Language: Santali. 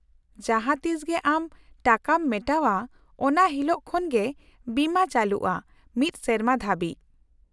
-ᱡᱟᱦᱟᱸ ᱛᱤᱥ ᱜᱮ ᱟᱢ ᱴᱟᱠᱟᱢ ᱢᱮᱴᱟᱣᱼᱟ ᱚᱱᱟ ᱦᱤᱞᱳᱜ ᱠᱷᱚᱱ ᱜᱮ ᱵᱤᱢᱟᱹ ᱪᱟᱹᱞᱩᱜᱼᱟ ᱢᱤᱫ ᱥᱮᱨᱢᱟ ᱫᱷᱟᱹᱵᱤᱡ ᱾